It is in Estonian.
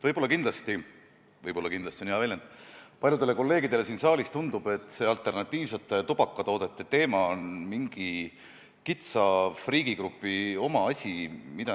Võib-olla kindlasti – "võib-olla kindlasti" on hea väljend – tundub paljudele kolleegidele siin saalis, et alternatiivsete tubakatoodete teema on mingi kitsa friigigrupi asi.